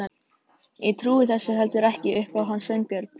Ég trúi þessu heldur ekki upp á hann Sveinbjörn.